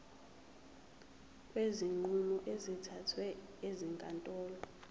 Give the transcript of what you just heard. kwezinqumo ezithathwe ezinkantolo